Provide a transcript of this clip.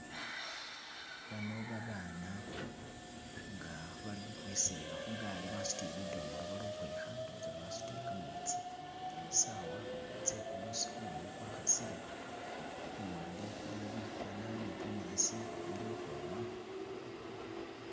Baano babana nga baali ukhwikhweselela khu gaali basutile bidomolo bali ukhwikha ndowoza basutile kametsi, saawa tse kumuusi kumumu kwa khasile, luwande iliyo bikoona ni bunyasi bili ukhwoma.